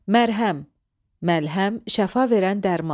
Məlhəm – məlhəm, şəfa verən dərman.